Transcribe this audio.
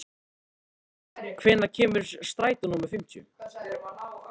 Ketilbjörn, hvenær kemur strætó númer fimmtíu?